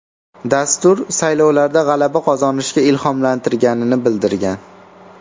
Dastur saylovlarda g‘alaba qozonishga ilhomlantirganini bildirgan.